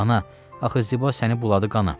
Ana, axı Ziba səni buladı qana.